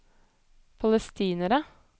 palestinere